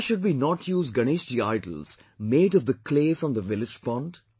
Why should we not use Ganeshji idols made of the clay from the village pond